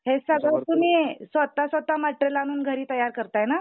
हे सगळं तुम्ही स्वतः स्वतः मटेरियल आणून घरी तयार करताय ना?